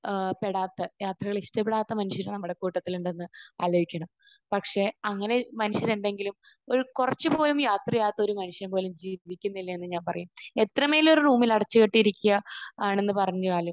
ഏഹ് പെടാത്ത യാത്രകൾ ഇഷ്ടപ്പെടാത്ത മനുഷ്യർ നമ്മുടെ കൂട്ടത്തിലുണ്ടെന്ന് ആലോചിക്കണം. പക്ഷെ അങ്ങനെ മനുഷ്യരുണ്ടെങ്കിലും ഒരു കുറച്ച് പോലും യാത്ര ചെയ്യാത്ത ഒരു മനുഷ്യൻ പോലും ജീവിച്ചിരിക്കുന്നില്ലയെന്ന് ഞാൻ പറയും. എത്രമേൽ ഒരു റൂമിൽ അടച്ചുകെട്ടിയിരിക്കുക ആണെന്ന് പറഞ്ഞാലും